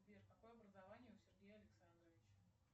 сбер какое образование у сергея александровича